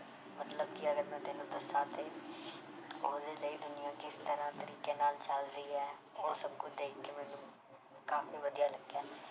ਮਤਲਬ ਕਿ ਅਗਰ ਮੈਂ ਤੈਨੂੰ ਦੱਸਾਂ ਤੇ ਉਹਦੇ ਲਈ ਦੁਨੀਆਂ ਕਿਸ ਤਰ੍ਹਾਂ ਤਰੀਕੇ ਨਾਲ ਚੱਲ ਰਹੀ ਹੈ ਉਹ ਸਭ ਕੁਛ ਦੇਖ ਕੇ ਮੈਨੂੰ ਕਾਫ਼ੀ ਵਧੀਆ ਲੱਗਿਆ।